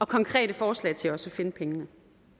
konkrete forslag til også at finde pengene